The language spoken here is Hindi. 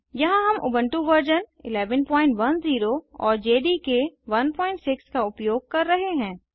यहाँ हम उबन्टु वर्जन 1110 और जेडीके 16 का उपयोग कर रहे हैं